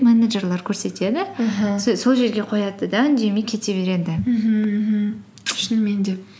менеджерлер көрсетеді аха сол жерге қояды да үндемей кете береді мхм мхм шынымен де